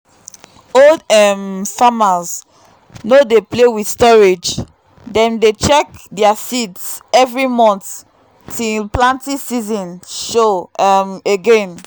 old um farmers no dey play with storage; dem dey check their seeds every month till planting season show um again.